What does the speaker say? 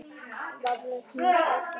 Og vafalaust eru mörg forn algrím gleymd.